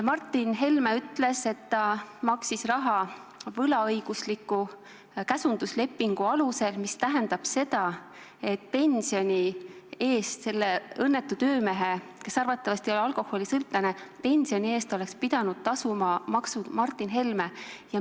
Martin Helme ütles, et ta maksis raha võlaõigusliku käsunduslepingu alusel, mis tähendab seda, et selle õnnetu töömehe, kes arvatavasti oli alkoholisõltlane, pensionimaksud oleks pidanud tasuma Martin Helme.